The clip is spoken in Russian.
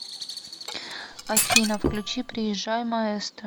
афина включи приезжай маэстро